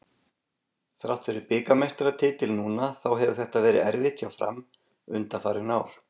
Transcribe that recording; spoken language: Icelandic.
Þrátt fyrir bikarmeistaratitil núna þá hefur þetta verið erfitt hjá Fram undanfarin ár.